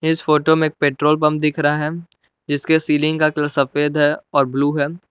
इस फोटो में petrol pump दिख रहा है जिसके सीलिंग का कलर सफेद है और ब्लू है।